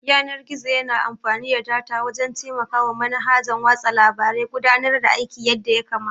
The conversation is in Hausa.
Yanar-gizo yana amfani da data wajan taimakawa manhajan watsa labare gudanar da aiki yadda yakamata